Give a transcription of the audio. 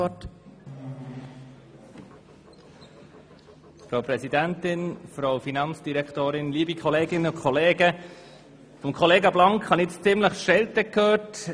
Von Kollega Blank haben wir eine ordentliche Schelte an die Adresse der FIN gehört.